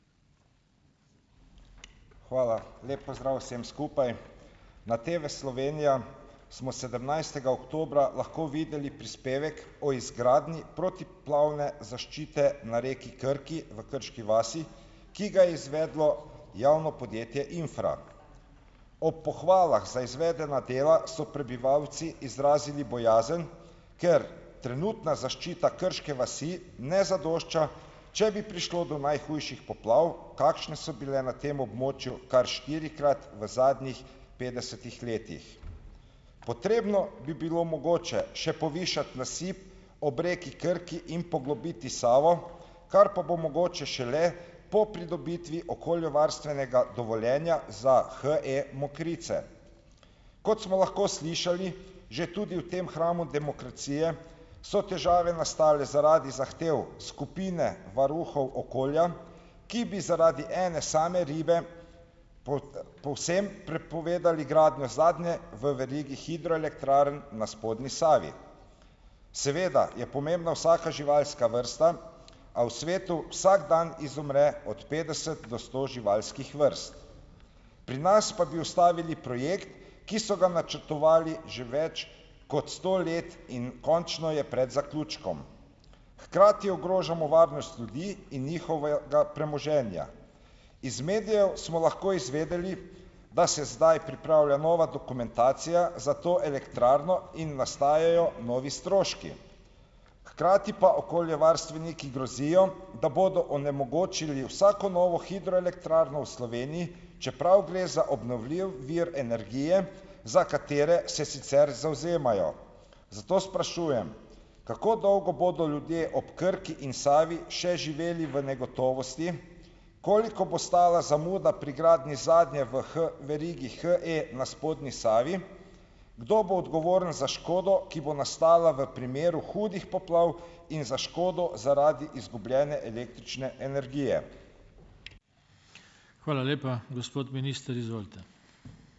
Hvala. Lep pozdrav vsem skupaj. Na TV Slovenija smo sedemnajstega oktobra lahko videli prispevek o izgradnji protipoplavne zaščite na reki Krki v Krški vasi, ki ga je izvedlo javno podjetje Infra. Ob pohvalah za izvedena dela so prebivalci izrazili bojazen, ker trenutna zaščita Krške vasi ne zadošča, če bi prišlo do najhujših poplav, kakšne so bile na tem območju kar štirikrat v zadnjih petdesetih letih. Potrebno bi bilo mogoče še povišati nasip ob reki Krki in poglobiti Savo, kar pa bo mogoče šele po pridobitvi okoljevarstvenega dovoljenja za HE Mokrice. Kot smo lahko slišali že tudi v tem hramu demokracije, so težave nastale zaradi zahtev skupine varuhov okolja, ki bi zaradi ene same ribe povsem prepovedali gradnjo zadnje v verigi hidroelektrarn na spodnji Savi. Seveda je pomembna vsaka živalska vrsta, a v svetu vsak dan izumre od petdeset do sto živalskih vrst. Pri nas pa bi ustavili projekt, ki so ga načrtovali že več kot sto let, in končno je pred zaključkom. Hkrati ogrožamo varnost ljudi in njihovega premoženja. Iz medijev smo lahko izvedeli, da se zdaj pripravlja nova dokumentacija za to elektrarno in nastajajo novi stroški. Hkrati pa okoljevarstveniki grozijo, da bodo onemogočili vsako novo hidroelektrarno v Sloveniji, čeprav gre za obnovljiv vir energije, za katere se sicer zavzemajo. Zato sprašujem: kako dolgo bodo ljudje ob Krki in Savi še živeli v negotovosti? Koliko bo stala zamuda pri gradnji zadnje v verigi HE na spodnji Savi? Kdo bo odgovoren za škodo, ki bo nastala v primeru hudih poplav in za škodo zaradi izgubljene električne energije? Hvala lepa. Gospod minister, izvolite.